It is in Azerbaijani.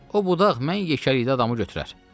O budaq mən yekəlikdə adamı götürər.